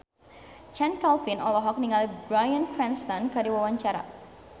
Chand Kelvin olohok ningali Bryan Cranston keur diwawancara